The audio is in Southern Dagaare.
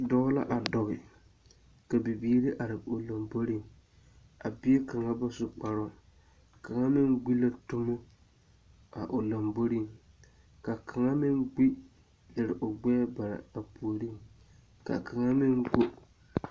Dɔɔ a dɔge ka bibiiri are o lomboriŋ. A bie kaŋa ba su kparoo. Kaŋa meŋ gbi la dumo a o lamboriŋ. Ka kaŋa meŋ gbi lere a o gbɛɛ bare a puoriŋ. Ka kaŋa meŋ go...